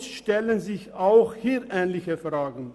Somit stellen sich auch hier ähnliche Fragen.